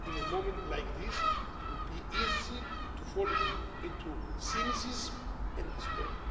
In a moment like this, it would be easy to fall into cynicism and despair.